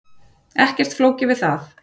Ekkert flókið við það.